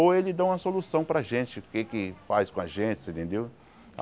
Ou ele dá uma solução para a gente, o que é que faz com a gente, você entendeu?